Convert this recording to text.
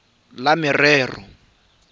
le lefapha la merero ya